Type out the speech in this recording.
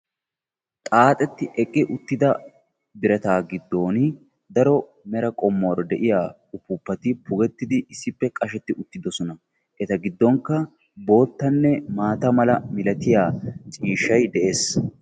xaaxeti eqi utida birataa gidoni daro mera qommuwara de"iya upuupati pugetidi issippe qasheti utidosona. Eta giddonka boottane maata mera milatiya ciishay de"es.